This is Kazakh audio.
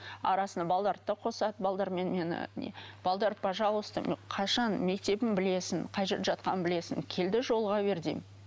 арасында балаларды да қосады мені не пожалуйста мен қашан мектебін білесің қай жерде жатқанын білесің кел де жолыға бер деймін